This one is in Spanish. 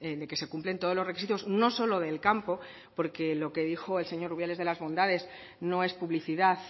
de que se cumplen todos los requisitos no solo del campo porque lo que dijo el señor rubiales de las bondades no es publicidad